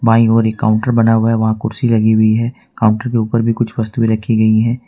By ओर एक counter बना हुआ है वहाँ कुर्सी लगी हुई है काउंटर के ऊपर भी कुछ वस्तुएँ रखी गई हैं।